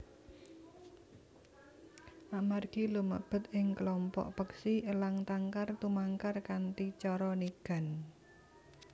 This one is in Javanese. Amargi lumebet ing klompok peksi elang tangkar tumangkar kanthi cara nigan